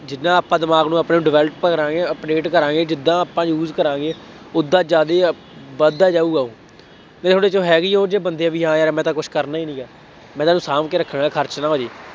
ਜਿੰਨਾ ਆਪਾਂ ਦਿਮਾਗ ਨੂੰ ਆਪਣੇ ਨੂੰ develop ਕਰਾਂਗੇ, update ਕਰਾਂਗੇ, ਜਿਦਾਂ ਆਪਾਂ use ਕਰਾਂਗੇ, ਉਦਾਂ ਜ਼ਿਆਦੇ ਵੱਧਦਾ ਜਾਊਗਾ ਉਹ, ਇਹ ਥੋੜ੍ਹੇ ਜਿਹੇ ਹੈ ਵੀ ਉਹ ਜਿਹੇ ਬੰਦੇ ਬਈ ਹਾਂ ਯਾਰ ਮੈਂ ਤਾਂ ਕੁੱਛ ਕਰਨਾ ਹੀ ਨਹੀਂ। ਮੈਂ ਤਾਂ ਇਹਨੂੰ ਸ਼ਾਂਭ ਕੇ ਰੱਖਣਾ ਹੈ, ਖਰਚ ਨਾ ਹੋ ਜਾਏ।